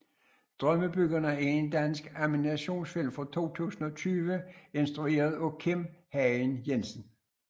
Drømmebyggerne er en dansk animationsfilm fra 2020 instrueret af Kim Hagen Jensen